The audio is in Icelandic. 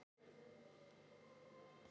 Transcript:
Á stofuborðinu loguðu kertaljós.